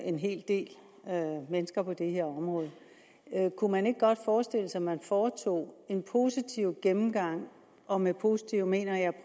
en hel del mennesker på det her område kunne man ikke godt forestille sig at man foretog en positiv gennemgang og med positiv mener jeg at